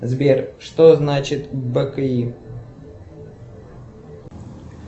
сбер что значит бки